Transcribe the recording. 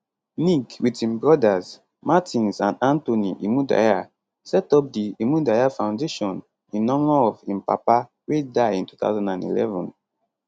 nick wit im brothers martins and anthony imudia setup di imudia foundation in honour of im papa wey die in 2011